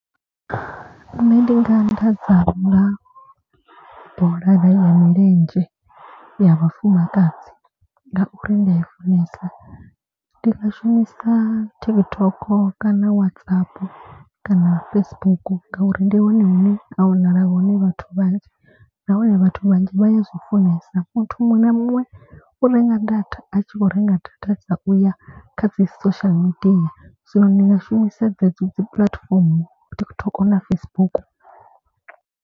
Nṋe ndi nga anḓadza nga bola ya milenzhe ya vhafumakadzi ngauri ndi a i funesa. Ndi nga shumisa TikTok kana Whatsapp kana Facebook ngauri ndi hone hune ha wanala hone vhathu vhanzhi. Na hone vhathu vhanzhi vha ya zwi funesa muthu muṅwe na muṅwe u renga data a tshi khou renga data dza u ya kha dzi social media. So ndi nga shumisa dzedzo dzi puḽatifomo TikTok na Facebook.